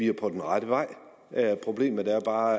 er på den rette vej problemet er bare at